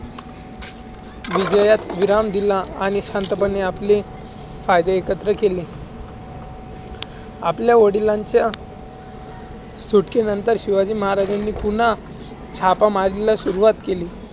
विजयात विराम दिला. आणि संथपणे आपले कायदे एकत्र केले. आपल्या वडिलांच्या सुटकेनंतर शिवाजी महराजांनी पुन्हा चापामारीला सुरुवात केली.